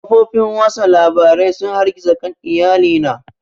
Kafofin watsa labarai sun hargitsa kan iyali na